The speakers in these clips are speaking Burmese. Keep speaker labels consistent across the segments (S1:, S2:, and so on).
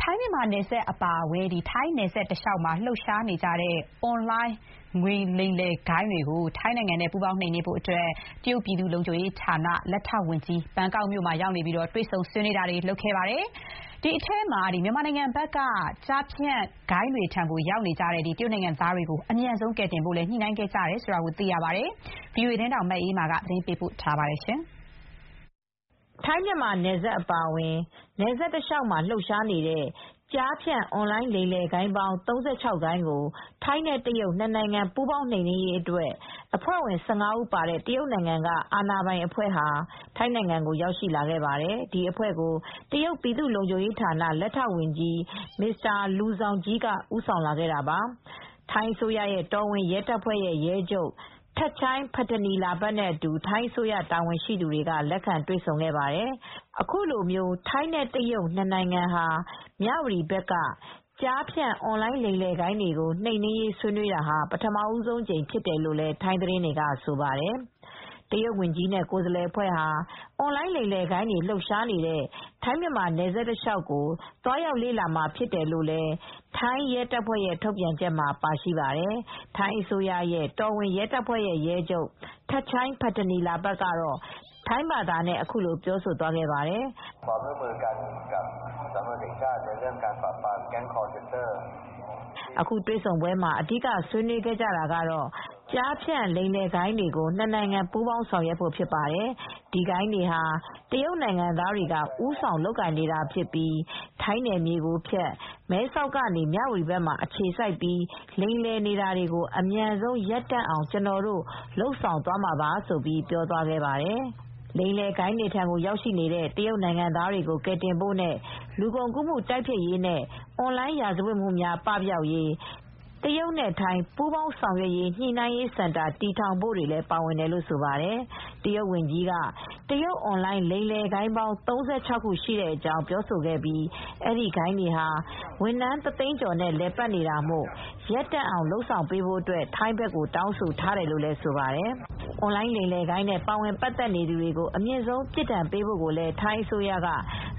S1: ထိုင်းမြန်မာနယ်စပ်အပါအဝင်ထိုင်းနယ်စပ်တလျှောက်မှာလှုပ်ရှားနေတဲ့အွန်လိုင်းလိမ်လည်ဂိုဏ်းတွေကို ထိုင်းနဲ့ ပူးပေါင်းနှိမ်နင်းဖို့အတွက် တရုတ်ပြည်သူ့လုံခြုံရေးဌာန လက်ထောက်ဝန်ကြီး ဘန်ကောက်မြို့မှာ တွေ့ဆုံဆွေး ခဲ့ပါတယ် ။ ဒီထဲမှာ မြန်မာနိုင်ငံဘက်က ကျားဖြန့်ဂိုဏ်းတွေထံရောက်ရှိနေတဲ့ တရုတ်နိုင်ငံသားတွေကို အမြန်ဆုံးကယ်တင်ဖို့လိုက်လံ ညှိနှိုင်းခဲ့ကြတယ်လို့သိရပါတယ်။ ဗွီအိုအေသတင်းထောက် မအေးအေးမာက သတင်းပေးပို့ထားပါတယ်။ ထိုင်းမြန်မာနယ်စပ်အပါအဝင်ထိုင်းနယ်စပ်တလျှောက်မှာလှုပ်ရှားနေ
S2: တဲ့ကျားဖြန့် အွန်လိုင်းလိမ်လည်ဂိုဏ်းပေါင်း ၃၆ ဂိုဏ်းကို ထိုင်းနဲ့ တရုတ်နှစ်နိုင်ငံ ပူးပေါင်းနှိမ်နင်းရေးအတွက် အဖွဲ့ဝင် ၁၅ ဦး ပါတဲ့ တရုတ်နိုင်ငံက အာဏာပိုင် အဖွဲ့(Minister of Public Security of the People's Republic of China) ဟာ ထိုင်းကိုရောက်ရှိလာခဲ့ပါတယ်။ ဒီအဖွဲ့ကို တရုတ်ပြည်သူ့လုံခြုံရေးဌာန လက်ထောက်ဝန်ကြီး Mr.Liu Zhongyi (မစ္စတာ လူဇောင်ဂျီး) က ဦးဆောင်လာခဲ့တာပါ။ ထိုင်း အစိုးရရဲ့ တော်ဝင်ရဲတပ်ဖွဲ့ ရဲချုပ် Pol. Gen. Thatchai Pitaneelabut (ထပ်ချိုင်း ပထနီလာဘတ်) နဲ့အတူ ထိုင်းအစိုးရ တာဝန်ရှိသူတွေက လက်ခံ တွေ့ဆုံခဲ့ပါတယ် ။ အခုလိုထိုင်းနဲ့တရုတ်နှစ်နိုင်ငံဟာ မြ၀တီဘက်က ကျားဖြန့်အွန်လိုင်းလိမ်လည်ဂိုဏ်းတွေကို နှိမ်နင်းရေးဆွေးနွေးတာဟာ ပထမဦးဆုံးအကြိမ်ဖြစ်တယ်လို့ ထိုင်းသတင်းတွေက ဆိုပါတယ် ။ တရုတ်ဝန်ကြီးနဲ့ကိုယ်စားလှယ်အဖွဲ့ဟာ အွန်လိုင်းလိမ်လည်ဂိုဏ်းတွေလှုပ်ရှားနေတဲ့ ထိုင်းမြန်မာနယ်စပ်အခြေအနေကို သွားရောက်လေ့လာမှာဖြစ်တယ်လို့ ထိုင်းရဲတပ်ဖွဲ့ရဲ့ထုတ်ပြန်ချက်မှာပါရှိပါတယ် ။ ထိုင်း အစိုးရရဲ့ တော်ဝင်ရဲတပ်ဖွဲ့ ရဲချုပ် Pol. Gen. Thatchai Pitaneelabut (ထပ်ချိုင်း ပထနီလာဘတ်) ကတော့ ထိုင်းဘာသာနဲ့အခုလိုပြောသွားပါတယ်။ “ အခုတွေ့ဆုံ ပွဲမှာအဓိဆွေး နွေးခဲ့ကြတာကတော့ ကျားဖြန့် လိမ်လည်ဂိုဏ်းတွေကို နစ်နိုင်ငံ ပူးပေါင်းနှိမ်နင်းဖို့အတွက်ဖြစ်ပါတယ်။ ဒီဂိုဏ်းတွေဟာ တရုတ်နိုင်ငံသားတွေက ဦးဆောင်လုပ်ကိုင်နေတာဖြစ်ပြီး ထိုင်းနယ်မြေကိုဖြတ် မဲဆောက်ကနေ မြ၀တီဘက်မှာ အခြေစိုက်ပြီးလိမ်လည်နေတာကို အမြန်ဆုံးရပ်တန့်အောင်ကျွန်တော်တို့လုပ်ဆောင်သွားမှာပါ လို့ ပြောသွားပါတယ်။ “ လိမ်လည်ဂိုဏ်းတွေထံရောက်နေတဲ့ တရုတ်နိုင်ငံသားတွေကိုကယ်တင်ဖို့နဲ့ လူကုန်ကူးမှု တိုက်ဖျက်ရေးနဲ့ အွန်လိုင်းရာဇဝတ်မူများ ပပျောက်ရေး တရုတ်ထိုင်း ပူးပေါင်းဆောင်ရွက်ညှိနှိုင်းရေးစင်တာ တည်ထောင်ဖို့တွေလည်းပါဝင်တယ်လို့ဆိုပါတယ်။ တရုတ်ဝန်ကြီးက တရုတ်အွန်လိုင်း လိမ်လည်ဂိုဏ်းပေါင်း ၃၆ခုရှိကြောင်းပြောဆိုခဲ့ပြီး အဲဒီဂိုဏ်းတွေဟာဝန်ထမ်း တသိန်းကျော်နဲ့လည်ပတ်နေတာမို့ ရပ်တန့်အောင် လုပ်ဆောင်ပေးဖို့အတွက် ထိုင်းဘက်ကိုတောင်းဆိုထားတယ်လို့ ဆိုပါတယ်။ အွန်လိုင်းလိမ်လည်ဂိုဏ်းနဲ့ ပါဝင်ပါတ်သက် နေသူတွေကို အမြင့်ဆုံး အပြစ်ဒဏ်ပေးဖို့ကိုလည်း ထိုင်းအစိုးရက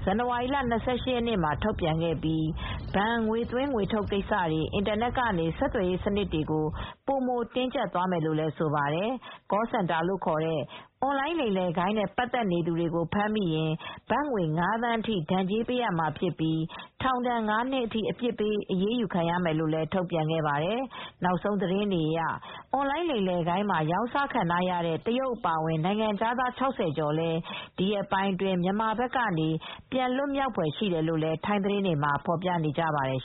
S2: ဇန်နဝါရီလ ၂၈ရက်နေ့မှာ ထုတ်ပြန်ခဲ့ပြီး ဘဏ်ငွေသွင်းငွေထုတ်ကိစ္စတွေ အင်တာနက်ကနေ ဆက်သွယ်ရေး စနစ်တွေကို ပိုမိုတင်းကျပ်သွားမယ်လို့ ဆိုပါတယ်။ Call Centerလို့ခေါ်တဲ့ အွန်လိုင်းလိမ်လည်ဂိုဏ်းနဲ့ပတ်သက်နေသူတွေကို ဖမ်းမိရင် ဘတ်ငွေ ၅သန်းဒဏ်ကြေးပေးရမှာဖြစ်ပြီး ထောင်ဒဏ် ၅နှစ်အထိ အပြစ်ပေးအရေးယူမယ်လို့လည်း ထုတ်ပြန်ခဲ့ပါတယ်။ နောက်ဆုံးသတင်းတွေအရ အွန်လိုင်းလိမ်လည်ဂိုဏ်းမှာ ရောင်စားခံထားရတဲ့ တရုတ်အပါအဝင် နိုင်ငံခြာသား ၆၀ကျော်လည်း ဒီရက်ပိုင်းအတွင်း မြန်မာဘက်ကနေ ပြန်လွတ်မြောက်ဖွယ်ရှိတယ်လို့လည်း ထိုင်းသတင်းတွေမှာ ဖော်ပြနေပါတယ်